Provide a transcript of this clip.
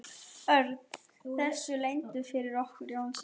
Örn þessu leyndu fyrir okkur Jónsa?